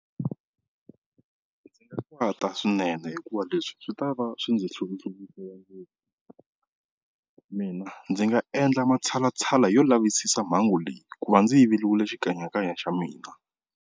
Ndzi nga kwata swinene hikuva leswi swi ta va swi ndzi mina ndzi nga endla matshalatshala yo lavisisa mhangu leyi ku va ndzi yiveriwile xikanyakanya xa mina.